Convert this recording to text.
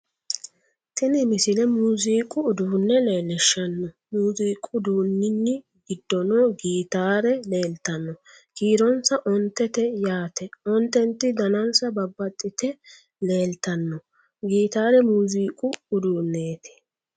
tini misile muziiqu uduunne leellishshanno muziiqu uduunni giddono gitaare leeltanno kiironsano ontete yaate ontenti danansano babbaxxite leeltanno gitaare muziiqu udunneeti